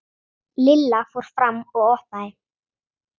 Lilla fór fram og opnaði.